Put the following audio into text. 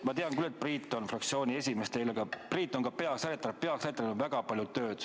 Ma tean küll, et Priit on teil fraktsiooni esimees, aga Priit on ka peasekretär ja peasekretäril on väga palju tööd.